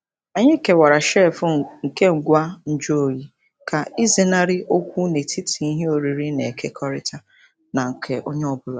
Anyị kewara shelf nke ngwa nju oyi ka ịzenarị okwu n'etiti ihe oriri na-ekekọrịta na nke onye ọ bụla.